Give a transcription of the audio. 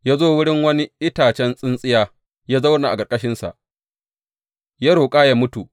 Ya zo wurin wani itacen tsintsiya, ya zauna a ƙarƙashinsa, ya roƙa yă mutu.